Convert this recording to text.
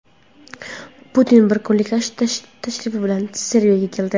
Putin bir kunlik tashrif bilan Serbiyaga keldi.